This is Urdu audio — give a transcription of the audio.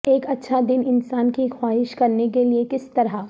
ایک اچھا دن انسان کی خواہش کرنے کے لئے کس طرح